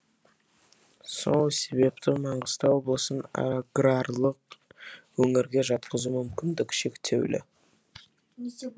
сол себепті маңғыстау облысын аграрлық өңірге жатқызу мүмкіндігі шектеулі